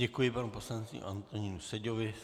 Děkuji panu poslanci Antonínu Seďovi.